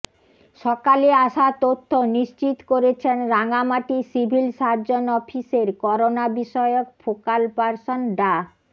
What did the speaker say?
সকালে আসা তথ্য নিশ্চিত করেছেন রাঙামাটি সিভিল সার্জন অফিসের করোনা বিষয়ক ফোকাল পার্সন ডা